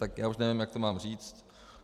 Tak já už nevím, jak to mám říct.